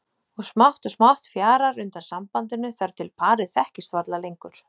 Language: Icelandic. Og smátt og smátt fjarar undan sambandinu þar til parið þekkist varla lengur.